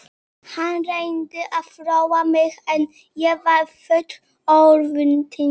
Hann reyndi að róa mig en ég var full örvæntingar.